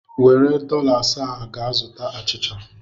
Were dọla asaa a gaa zụta achịcha!